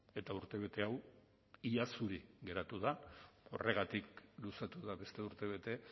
eta urtebete hau ia zuri geratu da horregatik luzatu da beste urtebete